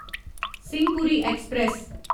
Simhapuri express